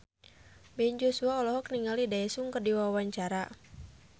Ben Joshua olohok ningali Daesung keur diwawancara